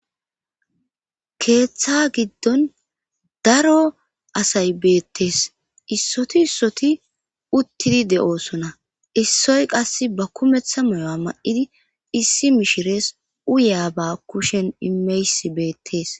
keeththa giddon daro asay beettees issoti issoti uttidi de7oosona issoy qas ba kumeththa moyo7a ma7idi issi mishirees uyaa ba kushen imeys beettees